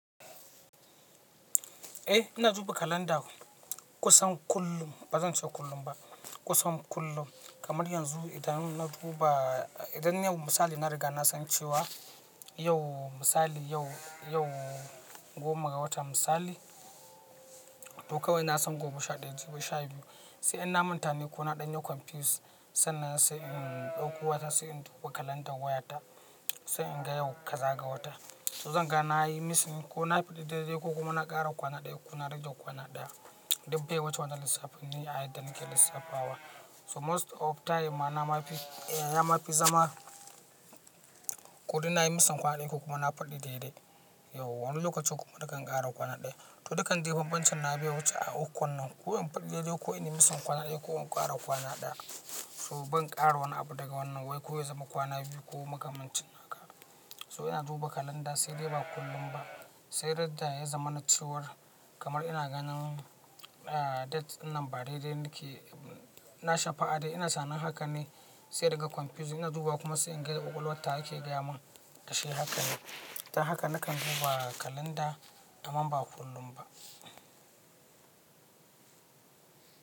Eh ina duba kalanda kusan kullum, ba zan ce kullum ba. Kusan kullum kamar yanzu idan na duba, idan yau misali na riga na san cewa yau misali, yau, yau goma ga watan misali to kawai na san gobe sha ɗaya, jibi sha biyu. Sai in na manta ne ko na ɗanye confuse, sannan sai in ɗauko wata sai in duba kalandar wayata, sai in ga yau kaza ga wata. To zan ga na yi missing ko na faɗi daidai ko kuma na ƙara kwana ɗaya ko na rage kwana ɗaya. Dubbe wacce wata lissafin ne ayyukan da nake lissafawa. So most of time ma na ma fi, ma fi zama ko deh nayi missing kwana ɗaya ko kuma na faɗi daidai. Yauwa wani lokaci kuma nakan ƙara kwana ɗaya. To dukkan ji bambancin na biya wuce a uku wannan. Ko in faɗi daidai ko in yi missing kwana ɗaya ko in ƙara kwana ɗaya. So ban ƙara wani abu daga wannan wai ko ya zama kwana biyu ko makamancin haka. So ina duba kalanda sai dai ba kullum ba. Sai dai da ya zama na ce war kamar ina ganin date dinnan ba daidai nake, na shafa ad'i ina sanin haka ne sai daga confuse ina duba kuma sai in ga kwakwalwan tawa yake gaya mun kashi haka ne. Dan haka nakan duba kalanda amma ba kullum ba.